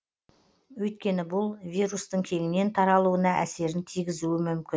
өйткені бұл вирустың кеңінен таралуына әсерін тигізуі мүмкін